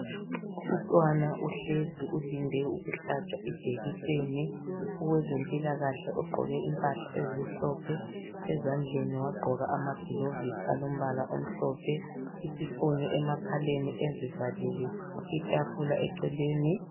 Umntwana uhlezi ulinde ukuhlatshwa ijekiseni , owezempilakahle ogqoke impahla ezimhlophe ezandleni wagqoka ama gilovisi alombala omhlophe isifonyo emakhaleni ezivalile , itafula eceleni.